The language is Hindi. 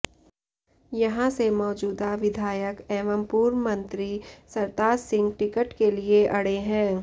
यहां से मौजूदा विधायक एवं पूर्व मंत्री सरताज सिंह टिकट के लिए अड़े हैं